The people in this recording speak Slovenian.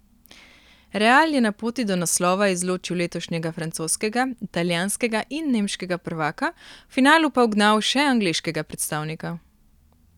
Real je na poti do naslova izločil letošnjega francoskega, italijanskega in nemškega prvaka, v finalu pa ugnal še angleškega predstavnika.